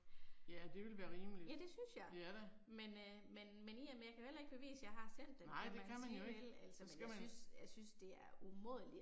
Ja det ville være rimeligt. Ja da. Nej det kan man jo ikke, det skal man